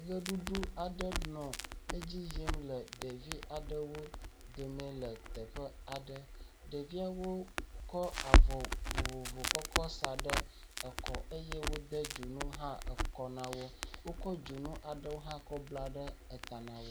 Ʋeɖuɖu aɖe nɔ edzi yim le ɖevi aɖewo dome le teƒe aɖe. Ɖeviawo wokɔ avɔ vovovo kɔkɔ sa ɖe ekɔ eye wode dzonu hã ekɔ na wo. Wokɔ dzonu aɖewo hã kɔ bla eta na wo.